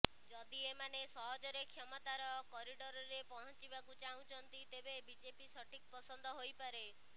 ଯଦି ଏମାନେ ସହଜରେ କ୍ଷମତାର କରିଡରରେ ପହଞ୍ଚିବାକୁ ଚାହୁଁଛନ୍ତି ତେବେ ବିଜେପି ସଠିକ୍ ପସନ୍ଦ ହୋଇପାରେ